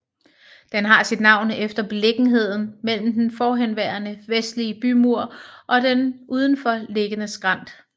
Den har sit navn efter beliggenheden mellem den forhenværende vestlige bymur og den udenfor liggende skrænt